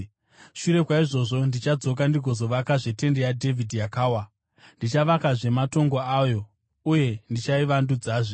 “ ‘Shure kwaizvozvo ndichadzoka ndigozovakazve tende yaDhavhidhi yakawa. Ndichavakazve matongo ayo, uye ndichaivandudzazve,